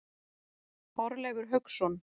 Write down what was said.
Þorleifur Hauksson.